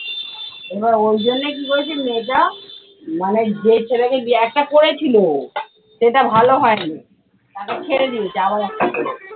এবার ওই জন্যে কি করেছে মেয়েটা মানে যে ছেলেকে বি একটা করেছিল সেটা ভালো হয় নি। তাকে ছেড়ে দিয়েছে, আবার একটা করেছে।